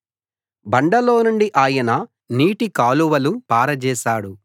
బండలోనుండి ఆయన నీటికాలువలు పారజేశాడు